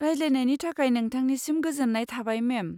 रायज्लायनायनि थाखाय नोंथांनिसिम गोजोन्नाय थाबाय, मेम।